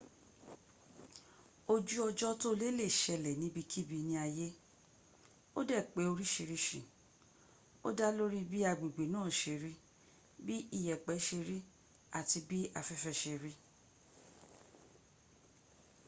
ojú ọjọ́ tóle lè ṣẹlẹ̀ níbikíbi ní ayé ó dẹ̀ pé orísí o dá lórí bi agbègbè naa ṣe rí bí iyẹ̀pẹ̀ ṣe rí àti bí afẹ́fẹ́ ṣe rí